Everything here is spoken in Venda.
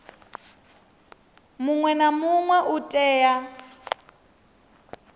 muṅwe na muṅwe u tea